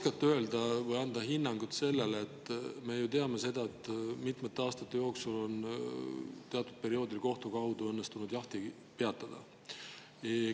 Kas te oskate anda hinnangut sellele – me ju teame seda –, et mitmete aastate jooksul on õnnestunud kohtu kaudu teatud perioodil jaht peatada?